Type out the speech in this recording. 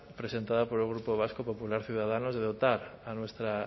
presentada por el grupo vasco popular ciudadanos de dotar a nuestra